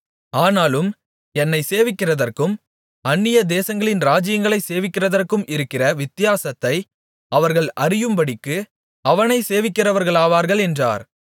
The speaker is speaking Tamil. ஆனாலும் என்னை சேவிக்கிறதற்கும் அந்நிய தேசங்களின் ராஜ்யங்களை சேவிக்கிறதற்கும் இருக்கிற வித்தியாசத்தை அவர்கள் அறியும்படிக்கு அவனை சேவிக்கிறவர்களாவார்கள் என்றார்